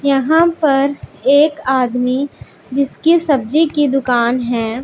यहां पर एक आदमी जिसकी सब्जी की दुकान है।